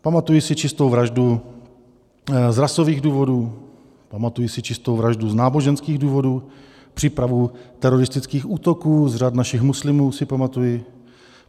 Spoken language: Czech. Pamatuji si čistou vraždu z rasových důvodů, pamatuji si čistou vraždu z náboženských důvodů, přípravu teroristických útoků z řad našich muslimů si pamatuji.